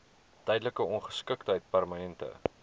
tydelike ongeskiktheid permanente